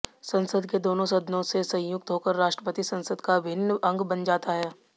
संसद के दोनों सदनों से संयुक्त होकर राष्ट्रपति संसद का अभिन्न अंग बन जाता है